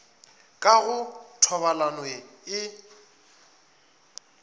ka go thobalano ye e